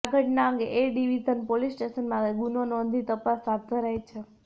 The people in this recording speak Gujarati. આ ઘટના અંગે એ ડિવિઝન પોલીસ સ્ટેશનમાં ગુનો નોંધી તપાસ હાથ ધરાઇ છે